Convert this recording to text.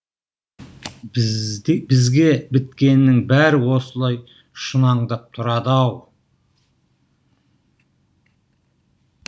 бізге біткеннің бәрі осылай шұнаңдап тұрады ау